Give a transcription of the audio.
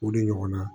O de ɲɔgɔnna